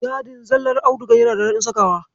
Yadin zallar audigar yana da daɗin sakawa.